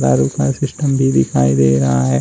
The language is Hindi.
सिस्टम भी दिखाई दे रहा है।